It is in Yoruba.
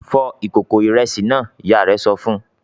"Fọ ìkòkò ìrẹsì náà!" Ìyá rẹ̀ sọ fún un.